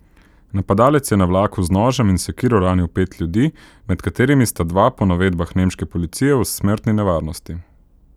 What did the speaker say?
Napadalec je na vlaku z nožem in sekiro ranil pet ljudi, med katerimi sta dva po navedbah nemške policije v smrtni nevarnosti.